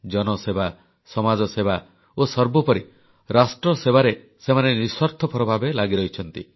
ଜନସେବା ସମାଜସେବା ଓ ସର୍ବୋପରି ରାଷ୍ଟ୍ରସେବାରେ ସେମାନେ ନିଃସ୍ୱାର୍ଥପର ଭାବେ ଲାଗି ରହିଛନ୍ତି